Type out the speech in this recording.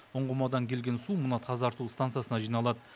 ұңғымадан келген су мына тазарту стансасына жиналады